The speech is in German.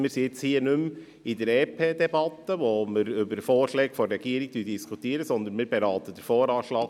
Wir befinden uns hier nicht mehr in der EP-Debatte, bei der wir Vorschläge der Regierung diskutieren, sondern wir beraten den VA 2019.